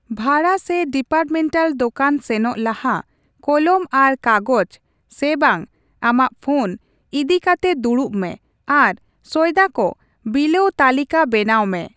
ᱵᱷᱟᱲᱟ ᱥᱮ ᱰᱤᱯᱟᱨᱴᱢᱮᱱᱴᱟᱞ ᱫᱚᱠᱟᱱ ᱥᱮᱱᱚᱜ ᱞᱟᱦᱟ ᱠᱚᱞᱚᱢ ᱟᱨ ᱠᱟᱜᱚᱡᱽ (ᱥᱮ ᱵᱟᱝ ᱟᱢᱟᱜ ᱯᱷᱚᱱ) ᱤᱫᱤ ᱠᱟᱛᱮ ᱫᱩᱲᱩᱵ ᱢᱮ ᱟᱨ ᱥᱚᱭᱫᱟ ᱠᱚ ᱵᱤᱞᱟᱹᱣ ᱛᱟᱹᱞᱤᱠᱟᱹ ᱵᱮᱱᱟᱣ ᱢᱮ ᱾